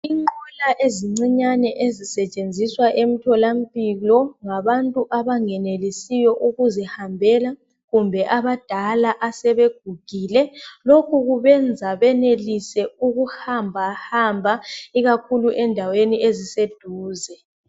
Inqola ezincinyane ezisetshenziswa emtholampilo ngabantu abangenelisiyo ukuzihambela. Kumbe abadala asebegugile .Lokhu kubenza benelise ukuhamba hamba ikakhulu endaweni eziseduze.